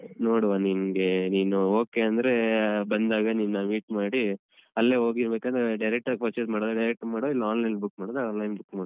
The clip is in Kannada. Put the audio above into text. ನೋಡುವ ನಿಂಗೆ ನೀನು okay ಅಂದ್ರೆ ಬಂದಾಗ ನಿನ್ನ meet ಮಾಡಿ ಅಲ್ಲೇ ಹೋಗಿ ಬೇಕಂದ್ರೆ direct ಆಗ್ purchase ಮಾಡುದಾದ್ರೆ direct ಮಾಡ್ವಾ ಇಲ್ಲ online ಅಲ್ಲಿ book ಮಾಡುದಾದ್ರೆ online book ಮಾಡ್ವಾ.